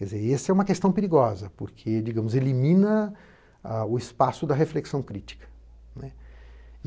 E essa é uma questão perigosa, porque, digamos, elimina o espaço da reflexão crítica.